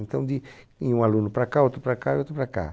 Então d ia um aluno para cá, outro para cá e outro para cá.